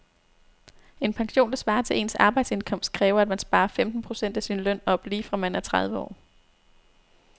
En pension, der svarer til ens arbejdsindkomst, kræver at man sparer femten procent af sin løn op lige fra man er tredive år.